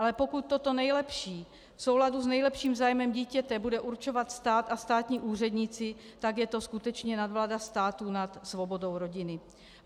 Ale pokud toto nejlepší v souladu s nejlepším zájmem dítěte bude určovat stát a státní úředníci, tak je to skutečně nadvláda státu nad svobodou rodiny.